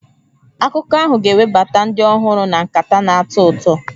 Akụkọ ahụ ga-ewebata ndị ọhụrụ na nkata na-atọ ụtọ.